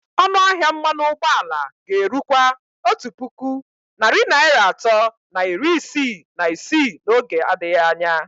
Ọnụ ahịa mmanụ ụgbọala ga-erukwa otu puku narị naira atọ na iri isii na isii n'oge adịghị anya.